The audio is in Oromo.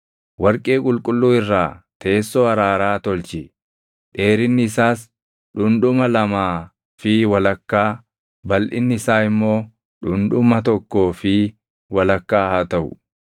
“Warqee qulqulluu irraa teessoo araaraa tolchi; dheerinni isaas dhundhuma lamaa fi walakkaa, balʼinni isaa immoo dhundhuma tokkoo fi walakkaa haa taʼu.